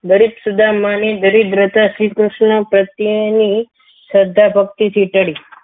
દરેક સુદામાની દરિદ્રતા શ્રીકૃષ્ણ પ્રત્યેની શ્રદ્ધા ભક્તિથી ચઢી